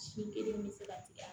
Si kelen bɛ se ka tigɛ